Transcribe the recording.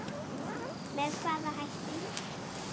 Með hvaða hætti?